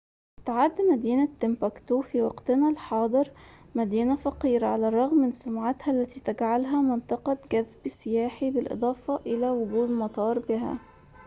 تُعد مدينة تمبكتو في وقتنا الحاضر مدينة فقيرة على الرغم من سمعتها التي تجعلها منطقة جذب سياحي بالإضافة إلى وجود مطار بها